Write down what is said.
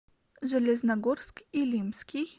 железногорск илимский